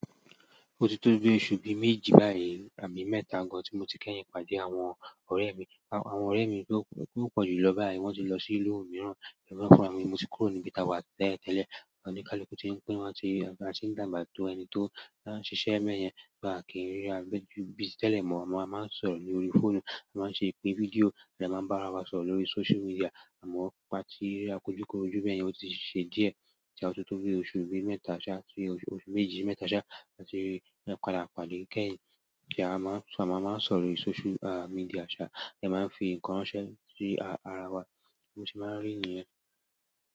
Ó ti tó bí ọ̀su bí méjì báyìí, àbí mẹ́ta gan tí mo ti kẹ́yìn pàdé àwọn ọ̀re mi. Àwọn ọ̀rẹ́ mi tó pọ̀jù lọ báyìí wọ́n ti lọ sí ìlú mìíràn, èmi gan fúnra mi, mo ti kúrò níbí tàwà tẹ́lẹ̀ tele. Àwọn oníkálukú ti ń pín, wọ́n ti ń dàgbà to ẹni tó ń ṣisé bẹ́yẹn, bí à kí n ríra ju bí ti tẹ́lẹ̀ mọ́. Àmọ a máa ń sọ̀rọ̀ lórí fóònù, a máa ń ṣe bi fídíò, a dẹ́ máa ń bá ara wa sọ̀rọ̀ lórí sócial medià. Àmọ́ pà tí rirákòjúkòrojú beyẹn ó ti ṣe díẹ̀ tí a tó tó bí oṣù bí mẹ́ta ṣá, tí oṣù méjì mẹ́ta ṣá, láti rí padà pàdé kẹ́yìn. Ti a maa maa n sọ̀rọ̀ lórí social media sa, a de maa n fi nkan ránṣẹ́ si arawa bo se maa n ri niyen.